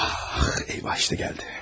Ah, eyvah işte geldi.